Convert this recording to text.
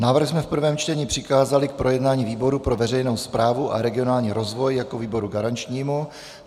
Návrh jsme v prvém čtení přikázali k projednání výboru pro veřejnou správu a regionální rozvoj jako výboru garančnímu.